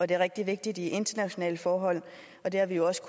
det er rigtig vigtigt i internationale forhold og det har vi jo også